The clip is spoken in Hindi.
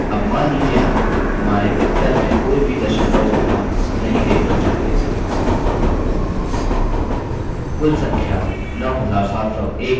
अब मान लीजिये हम हमारे उत्तर में कोई भी दशमलव स्थान नहीं देखना चाहते